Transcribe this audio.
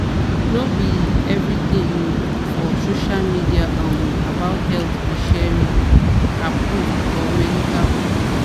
no be every thing you for social media um about health be sherry- approved or medical ok.